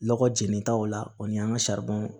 Lɔgɔ jenita o la o ni an ka